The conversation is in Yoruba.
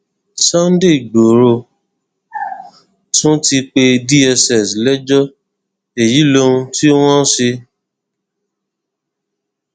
sunday igboro ti tún pe dssp lẹjọ èyí lohun tí wọn ṣe